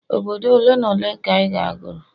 obodo ole n' ole ka ị ga goro?